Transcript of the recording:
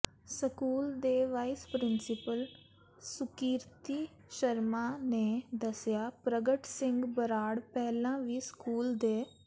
school ਦੇ vice principal Sukirti Sharma ਨੇ ਦੱਸਿਆ ਪ੍ਰਗਟ ਸਿੰਘ ਬਰਾੜ ਪਹਿਲਾਂ ਵੀ ਸਕੂਲ ਦੇ